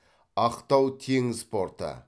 ақтау теңіз порты